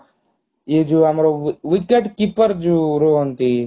ଏ ଯୋଉ ଆମର wicket keeper ଯୋ ରୁହନ୍ତି